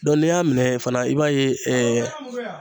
n'i y'a minɛ fana i b'a ye